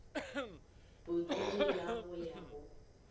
bodudi la go ya go